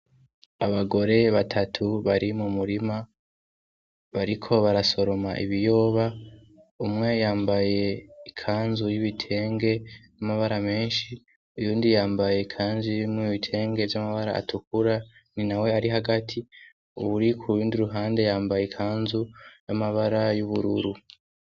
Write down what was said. Abagore batatu bari mumurima abariko barasoroma Ibiyoba, umwe yambaye ikanzu y'ibitenge y'amabara menshi, uyundi yambaye ikanzu irimwo ibitenge vy' amabara atukura ni nawe ari hagati, uwuri kuruhande yambaye ikanzu y'amabara y'ubururu .